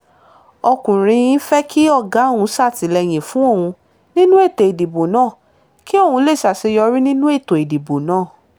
ọkùnrin fẹ́ kí ọ̀gá òun ṣàtìlẹ́yìn fún òun nínú ètò ìdìbò náà kí òun lè ṣàṣeyọrí nínú ètò ìdìbò náà